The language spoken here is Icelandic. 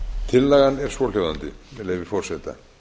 tillagan er svohljóðandi með leyfi forseta